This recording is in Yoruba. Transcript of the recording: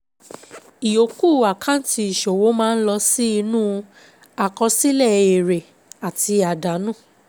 Ìyòókù àkáǹtì ìṣòwò máa ń lọ sí inú àkọsílẹ̀ èrè àti àdánù.